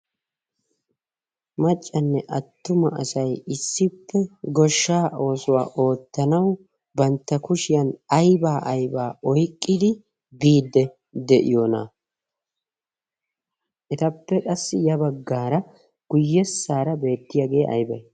maccanne attuma asai issippe goshsha oosuwaa oottanau bantta kushiyan aibaa aibaa oiqqidi biidde de7iyoona etappe qassi ya baggaara guyyessaara beettiyaagee aibai